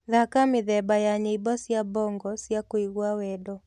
thaka mithemba ya nyĩmbo cĩa bongo cĩa kũĩgwa wendo